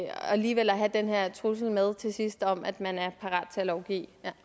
alligevel har den her trussel med til sidst om at man er parat til at lovgive